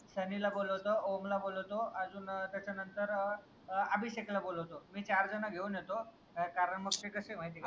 सनी ला बोलावतो ओम ला बोलावतो अजून त्या चा नंतर ए ए आभिषेक ला बोलावतो मी चार जण घेऊन येतो कारण मग ते कस ये माहितीये का